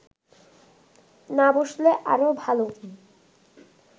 না বসলে আরও ভালো